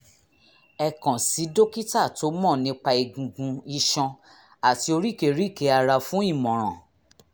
ẹ kàn sí dókítà tó mọ̀ nípa egungun iṣan àti oríkèéríkèé ara fún ìmọ̀ràn